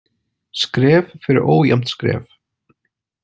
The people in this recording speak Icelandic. Skref fyrir ójafnt skref.